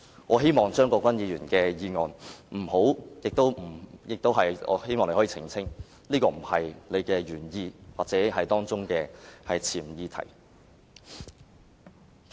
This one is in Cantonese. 我希望張國鈞議員可以澄清，這不是他提出議案的原意或潛議題。